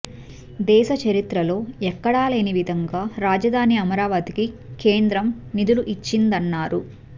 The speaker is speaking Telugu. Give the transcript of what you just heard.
దేశ చరిత్రలో ఎక్కడా లేని విధంగా రాజధాని అమరావతికి కేంద్రం నిధులు ఇచ్చిందన్నారు